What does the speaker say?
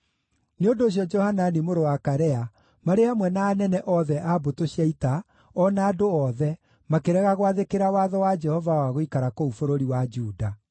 Nĩ ũndũ ũcio Johanani mũrũ wa Karea marĩ hamwe na anene othe a mbũtũ cia ita, o na andũ othe, makĩrega gwathĩkĩra watho wa Jehova wa gũikara kũu bũrũri wa Juda.